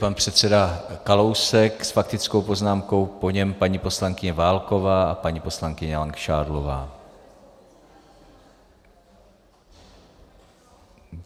Pan předseda Kalousek s faktickou poznámkou, po něm paní poslankyně Válková a paní poslankyně Langšádlová.